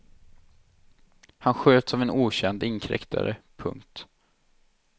Han sköts av en okänd inkräktare. punkt